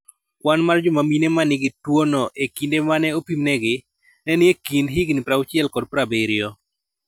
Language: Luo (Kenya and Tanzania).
Kwan mar joma mine ma nigi tuwono e kinde ma ne opimnegi, ne ni e kind higini 60 kod 70.